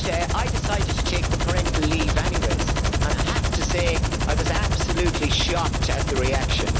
I decided to take parental leave anyway and I have to say that I was absolutely shocked at the reaction.